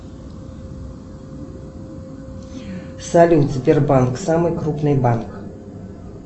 салют сбербанк самый крупный банк